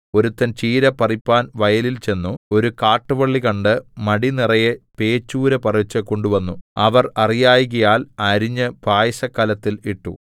ഒരുത്തൻ ചീര പറിപ്പാൻ വയലിൽ ചെന്നു ഒരു കാട്ടുവള്ളി കണ്ട് മടിനിറയ പേച്ചുര പറിച്ചു കൊണ്ടുവന്നു അവർ അറിയായ്കയാൽ അരിഞ്ഞു പായസക്കലത്തിൽ ഇട്ടു